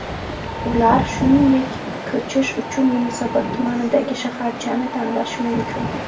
Ular, shuningdek, ko‘chish uchun Yunusobod tumanidagi shaharchani tanlashi mumkin.